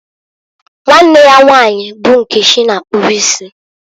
Nwanne ya nwanyi bụ Nkechi na-akpụbụ isi.